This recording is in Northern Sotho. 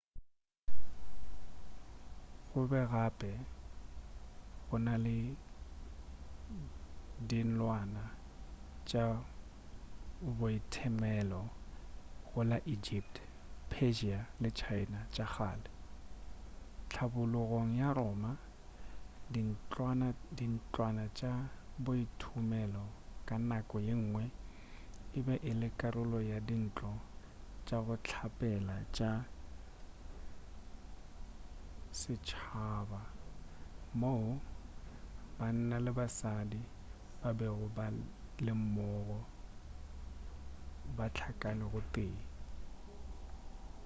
gobe gape go na le dintlwana tša boithomelo go la egypt persia le china tša kgale hlabologong ya roma dintlwana tša boithomelo ka nako yengwe e be e le karolo ya dintlo tša go hlapela tša setšhaba moo banna le basadi ba bego ba le mmogo ba hlakane go tee